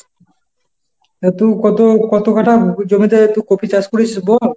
হ্যাঁ তবু কত কত কাঠা জমিতে এত কপি চাষ করেছিস বল?